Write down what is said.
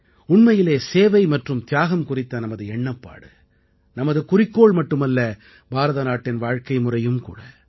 உண்மையிலே சேவை மற்றும் தியாகம் குறித்த நமது எண்ணப்பாடு நமது குறிக்கோள் மட்டுமல்ல பாரதநாட்டின் வாழ்க்கைமுறையும் கூட